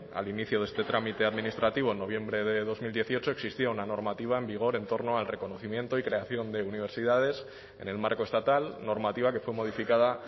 al inicio de este trámite administrativo en noviembre de dos mil dieciocho existía una normativa en vigor en torno al reconocimiento y creación de universidades en el marco estatal normativa que fue modificada